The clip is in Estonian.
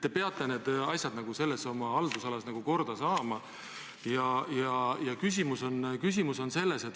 Te peate need asjad oma haldusalas korda saama.